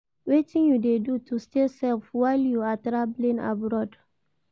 Wetin you dey do to stay safe while you are traveling abroad?